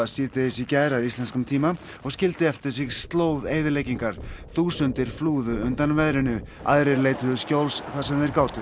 síðdegis í gær að íslenskum tíma og skildi eftir sig slóð eyðileggingar þúsundir flúðu undan veðrinu aðrir leituðu skjóls þar sem þeir gátu